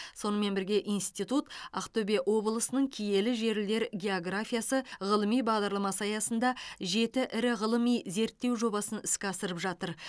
сонымен бірге институт ақтөбе облысының киелі жерлер географиясы ғылыми бағдарламасы аясында жеті ірі ғылыми зерттеу жобасын іске асырып жатыр